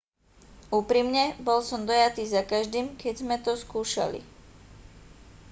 úprimne bol som dojatý zakaždým keď sme to skúšali